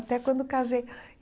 Até quando casei.